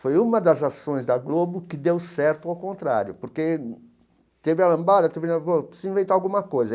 Foi uma das ações da Globo que deu certo ao contrário, porque teve a lambada, teve preciso inventar alguma coisa.